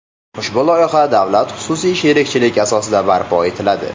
Ushbu loyiha davlat-xususiy sherikchilik asosida barpo etiladi.